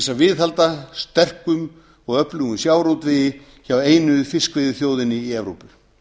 að viðhalda sterkum og öflugum sjávarútvegi hjá einu fiskveiðiþjóðinni í evrópu